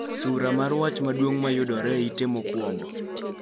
Sula mar wach maduong' ma yudore e ite mokwongo